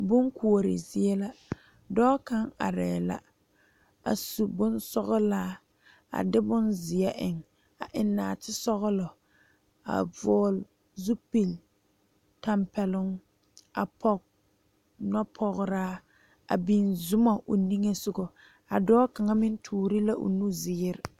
Bon Koɔri zie la dɔɔ kaŋ are la a su bonsɔglaa a de bonziɛ eŋ a eŋ naate sɔglɔ a vɔgle zupele tanpɛloŋ a poɔ noɔ pɔgra a biŋ zɔmo o niŋe soga a dɔɔ kaŋa meŋ tuure la o nu ziiri.